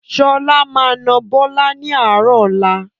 Sọlá máa na Bọlá ni àárọ̀ ọ̀la